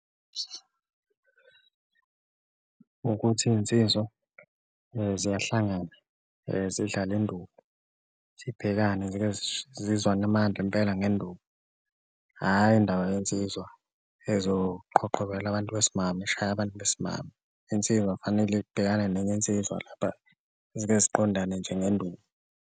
Ukuthi iy'nsizwa ziyahlangana zidlale induku zibhekane zike zizwane amandla impela ngenduku, hhayi indaba yensizwa ezoqhoqhobala abantu besimame, ishaye abantu besimame. Insizwa kufanele ibhekane nenye insizwa lapha zike ziqondane nje ngenduku.